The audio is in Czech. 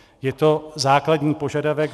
Je to základní požadavek.